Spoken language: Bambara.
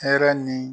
Hɛrɛ ni